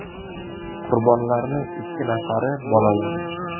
Qurbonlarning ikki nafari bolalar.